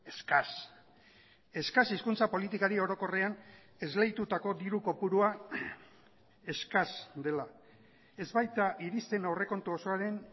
eskas eskas hizkuntza politikari orokorrean esleitutako diru kopurua eskas dela ez baita iristen aurrekontu osoaren